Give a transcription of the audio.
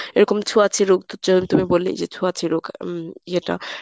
এরকম ছোঁয়াচে রোগ তুমি বললেই যে ছোঁয়াচে রোগ উম ইয়েটা